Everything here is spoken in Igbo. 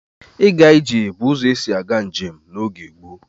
Ịga ije bụ ụzọ esi aga njem n'oge gboo.